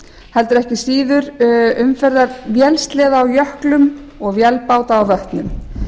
heldur ekki síður umferðar vélsleða á jöklum og vélbáta á vötnum